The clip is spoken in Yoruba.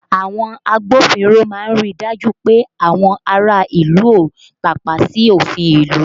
Àwọn agbófinró máa ń ríi dájú pé àwọn ará ìlú ó tàpá sí òfin ìlú